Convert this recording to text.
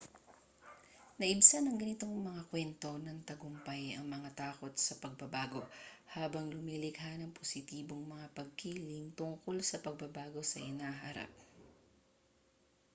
naibsan ng ganitong mga kwento ng tagumpay ang mga takot sa pagbabago habang lumilikha ng positibong mga pagkiling tungo sa pagbabago sa hinaharap